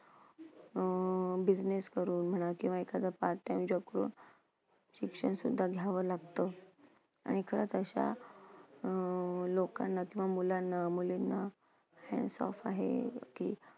अं business करून म्हणा किंवा एखादं part time job करून शिक्षण सुद्धा घ्यावं लागतं. आणि खरंच अशा अं लोकांना किंवा मुलांना मुलींना hats off आहे की